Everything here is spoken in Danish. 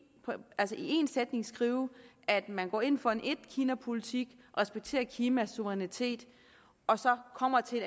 sætning skrive at man går ind for en etkinapolitik respekterer kinas suverænitet og så kommer til